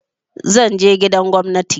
Zan je gidan gwamnati.